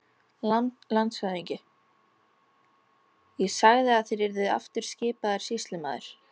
LANDSHÖFÐINGI: Ég sagði að þér yrðuð aftur skipaður sýslumaður.